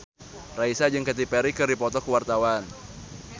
Raisa jeung Katy Perry keur dipoto ku wartawan